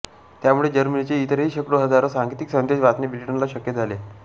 त्यामुळे जर्मनीचे इतरही शेकडोहजारो सांकेतिक संदेश वाचणे ब्रिटनला शक्य झाले